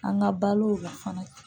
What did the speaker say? An ka balo la fana